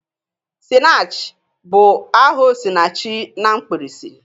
"Sinach ' bụ aha 'Osinachi' na mkpirisi.